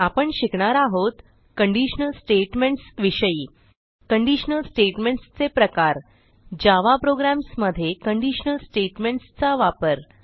आपण शिकणार आहोत कंडिशनल स्टेटमेंट्स विषयी कंडिशनल स्टेटमेंट्स चे प्रकार जावा प्रोग्राम्स मध्ये कंडिशनल स्टेटमेंट्स चा वापर